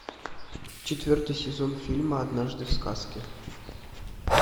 четвертый сезон фильма однажды в сказке